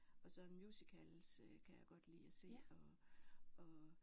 Og så musicals kan jeg godt lide at se og og